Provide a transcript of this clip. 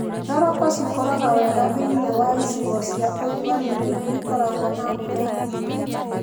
Thoroko cikũraga wega thĩiniĩ wa icigo cia ũrugarĩ na irĩa ikoragwo na mbura nini.